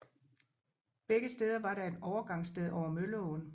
Begge steder var der et overgangssted over Mølleåen